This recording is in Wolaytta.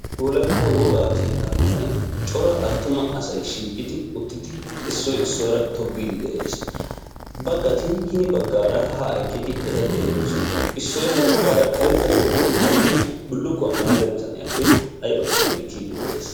Wolaytta wogaa keettaa karen cora asay shiiqqidi uttidi issoy issuwaara tobbiidi de'ees. baggati hini baggaara haa eqqidi eta xeelloosona. issoy ha baggaara karetta kootiyaa maayidi bullukkuwaa maayida bitaniyaappe aybakonne ekkiidi de'ees.